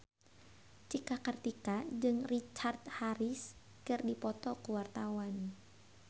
Cika Kartika jeung Richard Harris keur dipoto ku wartawan